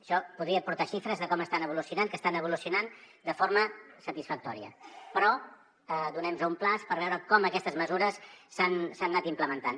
això podria portar xifres de com estan evolucionant que estan evolucionant de forma satisfactòria però donem nos un termini per veure com aquestes mesures s’han anat implementant